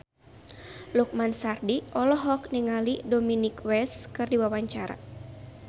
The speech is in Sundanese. Lukman Sardi olohok ningali Dominic West keur diwawancara